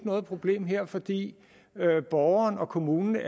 noget problem her fordi borgeren og kommunen